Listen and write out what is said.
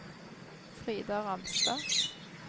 Frida Ramstad